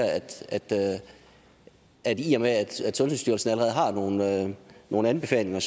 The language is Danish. at i og med at sundhedsstyrelsen allerede har nogle nogle anbefalinger